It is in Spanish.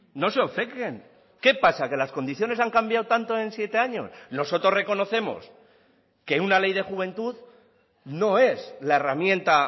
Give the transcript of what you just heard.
no se obcequen qué pasa que las condiciones han cambiado tanto en siete años nosotros reconocemos que una ley de juventud no es la herramienta